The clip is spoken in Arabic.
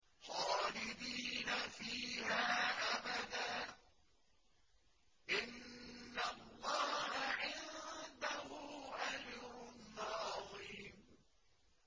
خَالِدِينَ فِيهَا أَبَدًا ۚ إِنَّ اللَّهَ عِندَهُ أَجْرٌ عَظِيمٌ